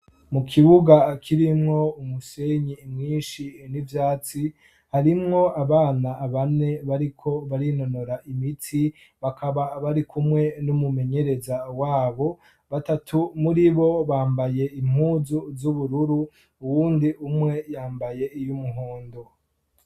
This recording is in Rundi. mu kibuga kirimwo umusenyi mwinshi n'ivyatsi harimwo abana bane bariko barinonora imitsi bakaba barikumwe n'umumenyereza wabo batatu muri bo bambaye impuzu z'ubururu uwundi umwe yambaye iy'umuhondo